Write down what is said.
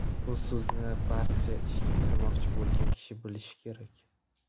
Bu so‘zni barcha ishga kirmoqchi bo‘lgan kishi bilishi kerak.